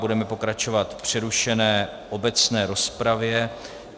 Budeme pokračovat v přerušené obecné rozpravě.